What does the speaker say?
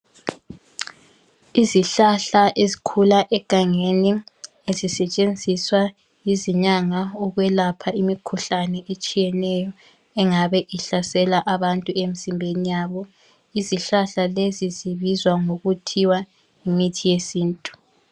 Izihlahla ezikhula egangeni zisetshensiswa yizinyanga ukwelapha imikhuhlane etshiyeneyo engabe ihlasela abantu emzimbeni yabo izihlahla lezi zibizwa ngokuthiwa yimithi yesintu.